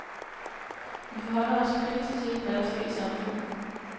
Vi forholder os kritisk til, hvad der sker i samfundet.